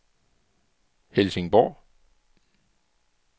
Helsingborg